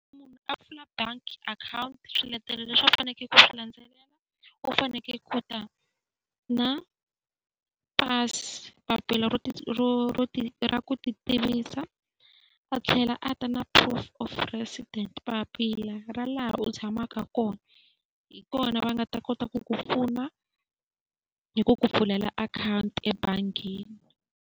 Munhu a pfula bangi akhawunti swiletelo leswi a fanekele ku swi landzelela u fanekele ku ta na pasi, papila ro ra ku ti tivisa, a tlhela a ta na proof of residence papila ra laha u tshamaka kona. Hi kona va nga ta kota ku ku pfuna hi ku ku pfulela akhawunti ebangini.